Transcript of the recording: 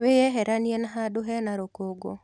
Wĩyeheranie na handũ hena rũkũngũ.